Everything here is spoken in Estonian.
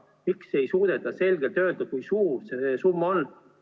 Miks ei suudeta selgelt öelda, kui suur see summa on?